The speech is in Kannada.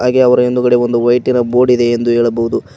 ಹಾಗೆ ಅವರ ಇಂದುಗಡೆ ವೈಟಿ ಬೋರ್ಡ್ ಇದೆ ಎಂದು ಹೇಳಬಹುದು.